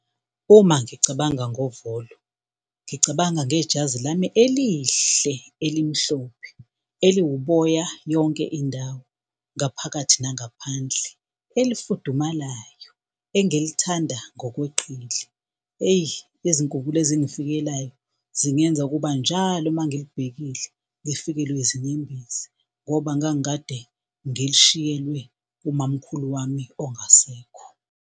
Uma ngicabanga ngovolo, ngicabanga ngejazi lami elihle elimhlophe eliwuboya yonke indawo ngaphakathi nangaphandle, elifudumalayo engilithanda ngokweqile. Eyi, izinkumbulo ezingafikelayo zingenza ukuba njalo mangilibhekile ngifikelwe yizinyembezi ngoba ngangikade ngilishiyelwe umamkhulu wami ongasekho.